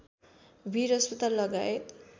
बीर अस्पताल लगायत